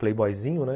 playboyzinho, né?